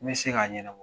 N bɛ se k'a ɲɛnabɔ